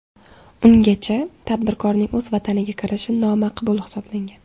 Ungacha tadbirkorning o‘z vataniga kirishi nomaqbul hisoblangan.